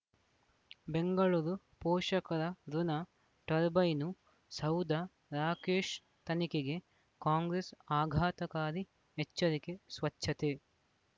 ಬೆಂಗಳೂರು ಪೋಷಕರತುಣ ಟರ್ಬೈನು ಸೌಧ ರಾಕೇಶ್ ತನಿಖೆಗೆ ಕಾಂಗ್ರೆಸ್ ಆಘಾತಕಾರಿ ಎಚ್ಚರಿಕೆ ಸ್ವಚ್ಛತೆ